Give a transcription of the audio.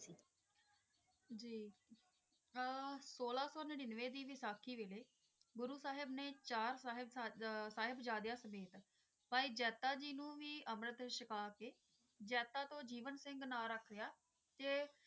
ਹਾਂ ਸੋਲਾਂ ਸੋ ਨਿੰਹਰਵੇਂ ਦੀ ਵੈਸਾਖੀ ਦੇ ਵੈਲੀ ਗੁਰੂ ਸਾਹਿਬ ਨੇ ਸਾਹਿਬ ਜਾਂਦੇ ਸਮੇਤ ਭਾਈ ਜਾਤਾ ਤੋਂ ਭਾਈ ਜੀਵਨ ਸਿੰਘ ਨਾਮ ਰੱਖ ਲਾਯਾ